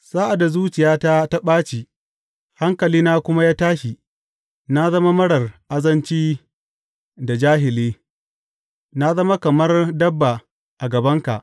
Sa’ad da zuciyata ta ɓaci hankalina kuma ya tashi, na zama marar azanci da jahili; na zama kamar dabba a gabanka.